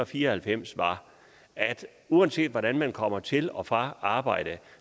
fire og halvfems var at uanset hvordan man kommer til og fra arbejde